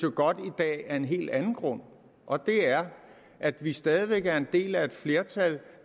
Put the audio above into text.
godt i dag af en helt anden grund og det er at vi stadig væk er en del af et flertal